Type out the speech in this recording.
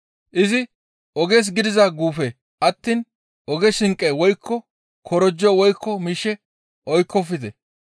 Izi, «Oges gidiza guufe attiin oge shinqe woykko korojo woykko miishshe oykkofte.